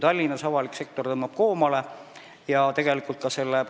Avalik sektor tõmbab Tallinnas koomale.